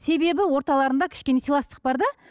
себебі орталарында кішкене сыйластық бар да